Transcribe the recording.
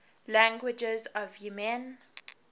languages of yemen